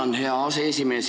Tänan, hea aseesimees!